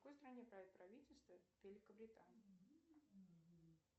в какой стране правит правительство великобритании